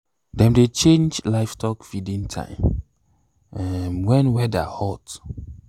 dem dey change livestock feeding time um when weather hot.